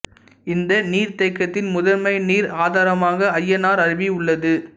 இந்த நீர்தேக்கத்தின் முதன்மை நீர் ஆதாரமாக அய்யனார் அருவி உள்ளது